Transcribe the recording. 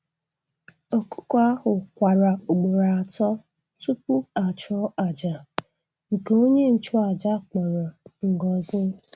Ọkụkọ ahụ kwara ugboro atọ tupu a chụọ àjà, nke onye nchụàjà kpọrọ ngọzi.